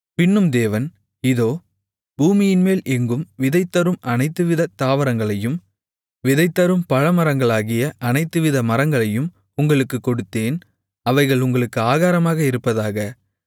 பின்னும் தேவன் இதோ பூமியின்மேல் எங்கும் விதை தரும் அனைத்துவிதத் தாவரங்களையும் விதை தரும் பழமரங்களாகிய அனைத்துவித மரங்களையும் உங்களுக்குக் கொடுத்தேன் அவைகள் உங்களுக்கு ஆகாரமாக இருப்பதாக